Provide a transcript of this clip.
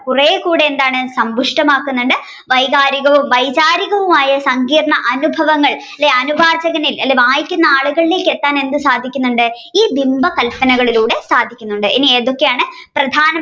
കുറെ കൂടി എന്താണ് സമ്പൂഷ്ടമാക്കുന്നുണ്ട് വൈകാരികവും വൈചാരികവുമായ സങ്കീർണ അനുഭവങ്ങൾ അനുവാചനകളിൽ അല്ലെങ്കിൽ വായിക്കുന്ന ആളുകളിൽ എത്തിക്കുവാൻ എന്ത് സഹായിക്കുന്നുണ്ട് ഈ ബിംബകല്പനകളിലൂടെ സാധിക്കുന്നുണ്ട്. ഏതൊക്കെയാണ് പ്രധാനപ്പെട്ട